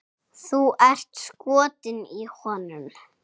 Þú ert skotin í honum!